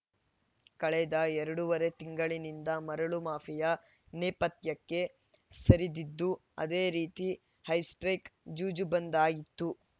ಕಳೆದ ಎರಡುವರೆ ತಿಂಗಳಿನಿಂದ ಮರಳು ಮಾಫಿಯಾ ನೇಪಥ್ಯಕ್ಕೆ ಸರಿದಿದ್ದು ಅದೇ ರೀತಿ ಹೈಸ್ಪ್ರೇಕ್‌ ಜೂಜು ಬಂದ್‌ ಆಗಿತ್ತು